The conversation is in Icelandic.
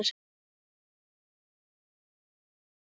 Þessir feðgar falla undir mína forsjá!